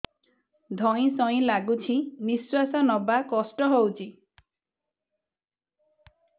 ଧଇଁ ସଇଁ ଲାଗୁଛି ନିଃଶ୍ୱାସ ନବା କଷ୍ଟ ହଉଚି